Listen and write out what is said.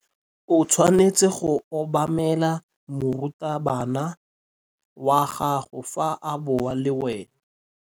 O tshwanetse go obamela morutabana wa gago fa a bua le wena.